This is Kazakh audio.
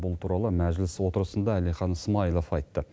бұл туралы мәжіліс отырысында әлихан смайылов айтты